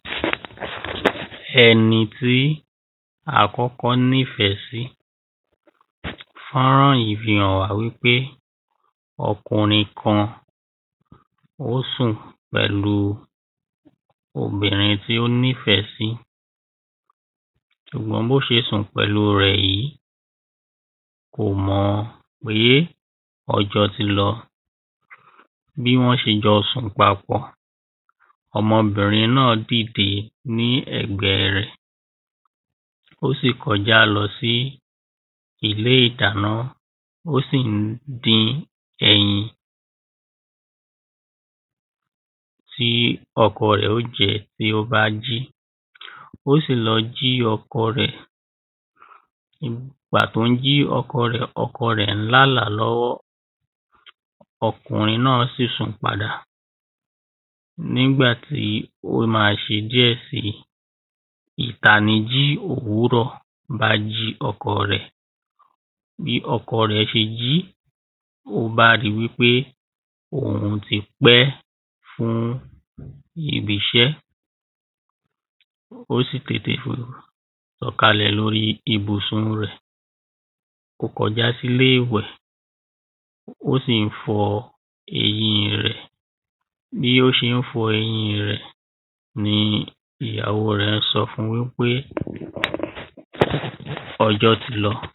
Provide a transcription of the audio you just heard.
ẹni tí akọ́kọ́ ni fẹ̀ sí. fọ́rán yí hàn wa wí pé ọkùnrín kan o sùn pẹ́lù obìnrín tí o ní fẹ si ṣùgbọ́n bo ṣe sùn pẹ́lù rẹ̀ yìi,́ kò mọ́ pe ọjọ́ tí lọ. Bí wọn ṣe jọ sùn pápọ̀, ọmọbìnrín náa dídè ní ẹ̀gbẹ rẹ̀ o sì kọ já lọ sí ilé ìdáná, o si n dín ẹyin tí ọkọ rẹ̀ o jẹ bí o ba ji. O si lọ́ ji ọkọ rẹ̀, ìgbà tó n jí ọkọ rẹ̀, ọkọ rẹ̀ lá la lọ́wọ́ ọkùnrín ná si sùn pádà. Nígbà tí o ma ṣe díe síì. Ìtáníji òwúrọ̀ ba ji ọkọ rẹ̀. Bí ọkọ rẹ̀ ṣe jí, o ba ri wí pe oun tí pẹ́ fún ibi iṣẹ́ O si tètè fò sọ̀kálè lóri ibùsùn rẹ̀, o kọ́ já si ilé ìwẹ̀, o si n fọ́ eyín rẹ̀. Bí o ṣe n fọ eyín rẹ̀ ni ìyàwó rẹ̀ sọ́ fún wí pé ọjọ́ tí lọ. Bí o ṣe n fọ eyín rẹ̀ ni ìyàwó rẹ̀ sọ́ fún wí pé ọjọ́ tí lọ. Bí o ṣe n fọ eyín rẹ̀ ni ìyàwó rẹ̀ sọ́ fún wí pé ọjọ́ tí lọ.